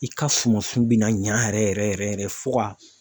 I ka sumansun bɛna ɲa yɛrɛ yɛrɛ yɛrɛ fo ka.